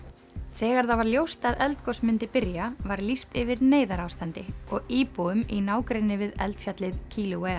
þegar það var ljóst að eldgos myndi byrja var lýst yfir neyðarástandi og íbúum í nágrenni við eldfjallið